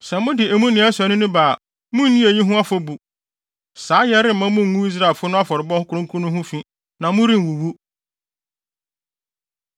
Sɛ mode emu nea ɛsɔ ani no ba a, munni eyi ho afɔbu; saayɛ remma mungu Israelfo no afɔrebɔ kronkron no ho fi, na morenwuwu.’ ”